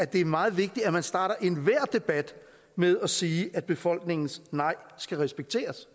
det er meget vigtigt at man starter enhver debat med at sige at befolkningens nej skal respekteres